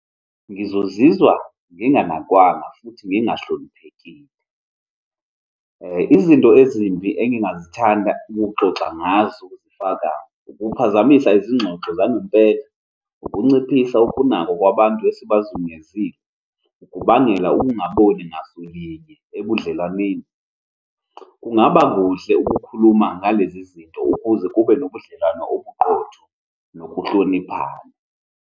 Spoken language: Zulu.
Ngizozizwa nginganakwanga futhi ngingahloniphekile. Izinto ezimbi engingazithanda ukuxoxa ngazo kufaka, ukuphazamisa izingxoxo zangempela, ukunciphisa ukunakwa kwabantu esibazungezile, ukubangela ukungaboni ngasolinye ebudlelwaneni. Kungaba kuhle ukukhuluma ngalezi zinto ukuze kube nobudlelwano obuqotho nokuhloniphana.